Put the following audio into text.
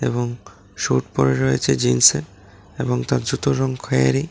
এবং স্যুট পড়ে রয়েছে জিন্সের এবং তা জুতোর রঙ খয়রি।